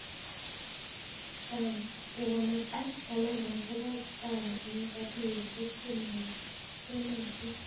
Kekanbta talentaisiek ak kipawa eng katuiyosiek che maiyonotin